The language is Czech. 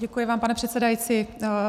Děkuji vám, pane předsedající.